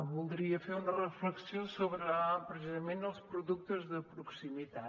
voldria fer una reflexió sobre precisament els productes de proximitat